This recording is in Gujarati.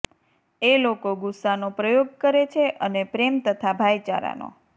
એ લોકો ગુસ્સાનો પ્રયોગ કરે છે અને પ્રેમ તથા ભાઇચારાનો